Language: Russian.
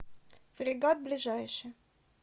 фрегат ближайший